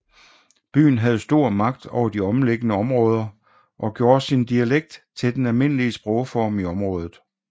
Byen havde stor magt over de omliggende områder og gjorde sin dialekt til det almindelige sprogform i området